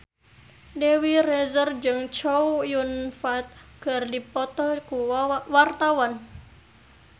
Dewi Rezer jeung Chow Yun Fat keur dipoto ku wartawan